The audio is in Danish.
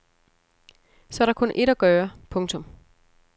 Så er der kun ét at gøre. punktum